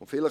angeboten.